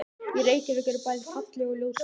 Í Reykjavík eru bæði falleg og ljót hús.